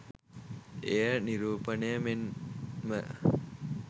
එය නිරූපණය මෙන්ම